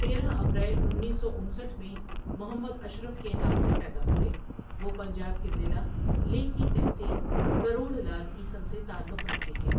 تیرہ اپریل انیس سو انسٹھ میں محمد اشرف کے نام سے پیدا ہوئے، وہ پنجاب کے ضلع لیہ کی تحصیل کروڑ لعل عیسن سے تعلق رکھتے ہیں